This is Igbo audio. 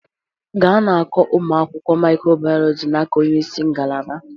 Ga na-akọ ụmụ akwụkwọ micro biology n'aka onye isi ngalaba